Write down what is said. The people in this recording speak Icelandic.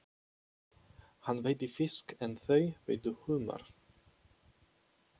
Hann veiddi fisk en þau veiddu humar.